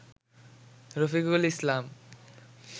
Rafiqul Islam